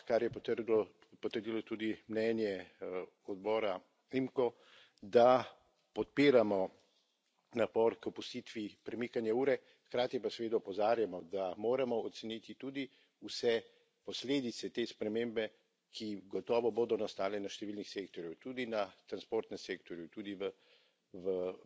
Mislim pa, kar je potrdilo tudi mnenje odbora IMCO, da podpiramo napor k opustitvi premikanja ure, hkrati pa seveda opozarjamo, da moramo oceniti tudi vse posledice te spremembe, ki gotovo bodo nastale na številnih sektorjih, tudi na transportnem sektorju, tudi v